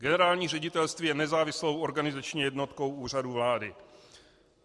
Generální ředitelství je nezávislou organizační jednotkou Úřadu vlády.